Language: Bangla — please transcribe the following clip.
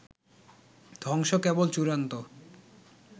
ধ্বংস কেবল চূড়ান্ত